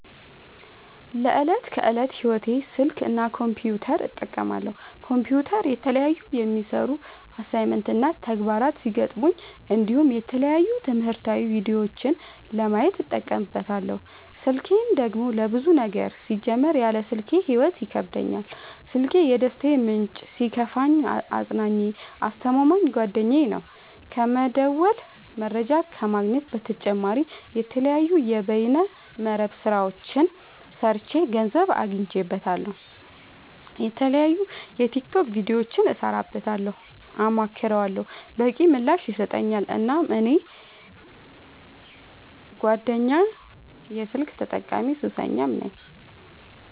ለዕት ከዕለት ህይወቴ ስልክ እና ኮምፒውተር እጠቀማለሁ። ኮምፒውተር የተለያዩ የሚሰሩ አሳይመንት እና ተግባራት ሲገጥሙኝ እንዲሁም የተለያዩ ትምህርታዊ ቪዲዮዎችን ለማየት እጠቀምበታለው። ስልኬን ደግሞ ለብዙ ነገር ሲጀመር ያለ ስልኬ ህይወት ይከብደኛል። ስልኪ የደስታዬ ምንጭ ሲከፋኝ አፅናኜ አስተማማኝ ጓደኛዬ ነው። ከመደወል መረጃ ከመግኘት በተጨማሪ የተለያዩ የበይነ መረብ ስራዎችን ሰርቼ ገንዘብ አገኝበታለሁ። የተለያዩ የቲክቶክ ቪዲዮዎችን እሰራበታለሁ አማክረዋለሁ። በቂ ምላሽ ይሰጠኛል እናም እኔ ቀንደኛ የስልክ ተጠቀሚና ሱሰኛም ነኝ።